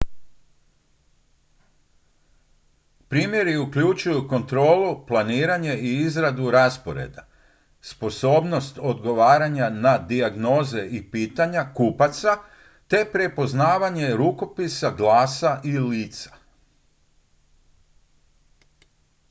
primjeri uključuju kontrolu planiranje i izradu rasporeda sposobnost odgovaranja na dijagnoze i pitanja kupaca te prepoznavanje rukopisa glasa i lica